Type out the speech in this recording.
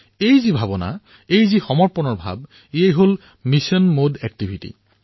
এই যি উৎসাহ এই যি সমৰ্পণ এয়া অভিযানভিত্তিক কাৰ্যকলাপ